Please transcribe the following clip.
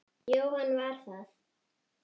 Jóhann var það.